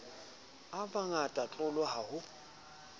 a mangata tlolo ha ho